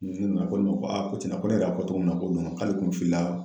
a ko ne ma ko a ko cɛnna ko ne yɛrɛ y'a fɔ togo min na k'o don kuwa k'ale kun filila